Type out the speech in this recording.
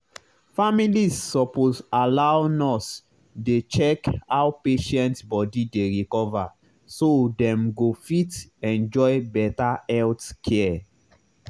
families suppose allow nurse dey check how patient body dey recover so dem go fit enjoy better health care.